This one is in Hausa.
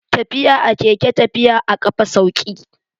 Tafiya a keke tafi a ƙafa sauƙi.